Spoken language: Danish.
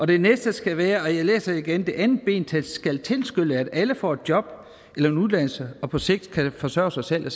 det næste skal være og jeg læser det igen det andet ben skal tilskynde at alle får et job eller en uddannelse og på sigt kan forsørge sig selv og